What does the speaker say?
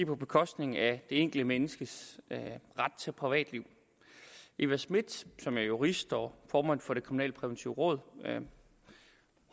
på bekostning af det enkelte menneskes ret til privatliv eva smith som er jurist og formand for det kriminalpræventive råd